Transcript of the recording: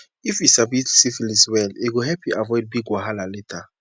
if you sabi syphilis well e go help you avoid big wahala later